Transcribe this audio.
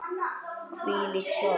Hvílík sorg.